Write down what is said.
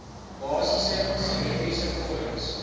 basiese simmetriese vorms